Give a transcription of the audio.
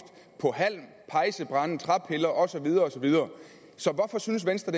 på halm pejsebrænde træpiller og så videre og så videre så hvorfor synes venstre